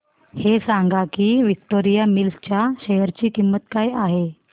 हे सांगा की विक्टोरिया मिल्स च्या शेअर ची किंमत काय आहे